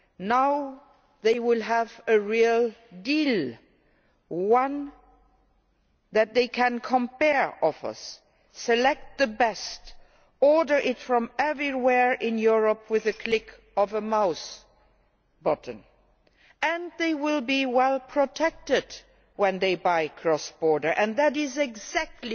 Now they will have a real deal one that means they can compare offers, select the best, order it from anywhere in Europe with the click of a mouse button. And they will be well protected when they buy cross border. And that is exactly